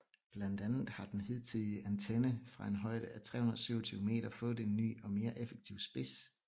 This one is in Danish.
Blandt andet har den hidtidige antenne fra en højde af 327 meter fået en ny og mere effektiv spids